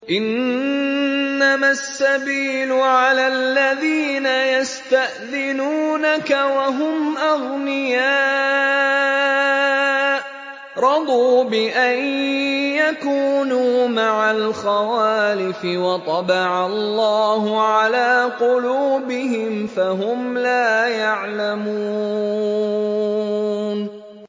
۞ إِنَّمَا السَّبِيلُ عَلَى الَّذِينَ يَسْتَأْذِنُونَكَ وَهُمْ أَغْنِيَاءُ ۚ رَضُوا بِأَن يَكُونُوا مَعَ الْخَوَالِفِ وَطَبَعَ اللَّهُ عَلَىٰ قُلُوبِهِمْ فَهُمْ لَا يَعْلَمُونَ